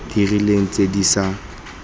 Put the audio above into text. di rileng tse di sa